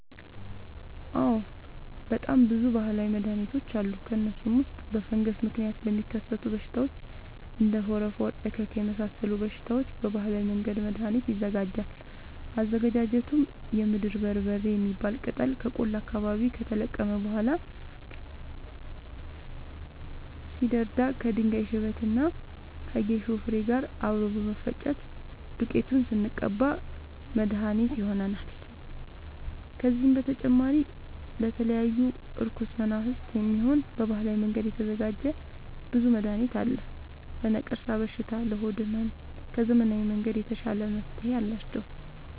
አዎድ በጣም ብዙ በሀላዊ መድሀኒቶች አሉ ከእነሱም ውስጥ በፈንገስ ምክንያት ለሚከሰቱ በሽታዎች እንደ ፎረፎር እከክ የመሳሰሉ በሽታዎች በባህላዊ መንገድ መድሀኒት ይዘጋጃል አዘገጃጀቱም የምድር በርበሬ የሚባል ቅጠል ከቆላ አካባቢ ከተለቀመ በኋላ ሲደርዳ ከድንጋይ ሽበት እና ከጌሾ ፋሬ ጋር አብሮ በመፈጨት ዱቄቱን ስንቀባ መድሀኒት መድሀኒት ይሆነናል። ከዚህም በተጨማሪ ለተለያዩ እርኩስ መናፍት፣ የሚሆን በባህላዊ መንገድ የተዘጋጀ ብዙ መድሀኒት አለ። ለነቀርሻ በሽታ ለሆድ ህመም ከዘመናዊ መንገድ የተሻለ መፍትሄ አላቸው።